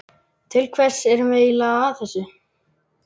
Til hvers erum við eiginlega að þessu?